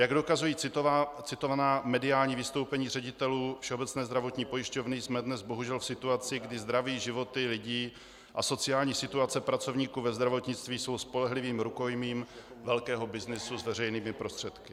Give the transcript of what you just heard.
Jak dokazují citovaná mediální vystoupení ředitelů Všeobecné zdravotní pojišťovny, jsme dnes bohužel v situaci, kdy zdraví, životy lidí a sociální situace pracovníků ve zdravotnictví jsou spolehlivým rukojmím velkého byznysu s veřejnými prostředky.